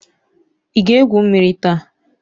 Ị ga-egwu mmiri taa?